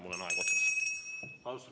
Mul on aeg otsas.